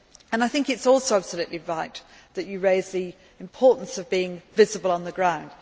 I think it is also absolutely right that you raise the importance of being visible on the ground.